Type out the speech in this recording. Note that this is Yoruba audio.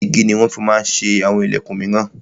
Igi ni wọn ma ń fi ṣe àwọn ìlẹ̀kun míràn.